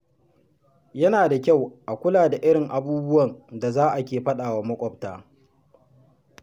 Yana da kyau a kula da irin abubuwan da za a ke faɗawa maƙwabta.